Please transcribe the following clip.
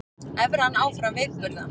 Evran áfram veikburða